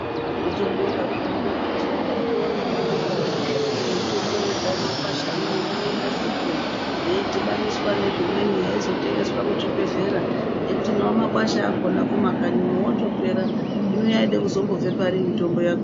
Tinotobonga zvedu kuti vakagona vanodarokozve kuti mitombo ichibva mumakwashamo ngainasirwe yeidhibaniswa nezvimweni yeizotengeswa muzvibhehlera nekuti nawo makwasha akona kumakanyi otopera zvino yaide kuzotobve pari mitombo yacho.